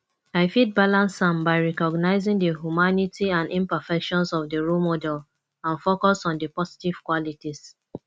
i fit balance am by recognizing di humanity and imperfections of di role model and focus on di positive qualities